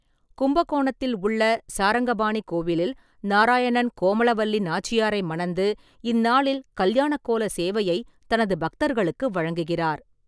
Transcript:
கும்பகோணத்தில் உள்ள சாரங்கபாணி கோவிலில், நாராயணன் கோமலவல்லி நாச்சியாரை மணந்து, இந்நாளில் கல்யாண கோல சேவையை தனது பக்தர்களுக்கு வழங்குகிறார்.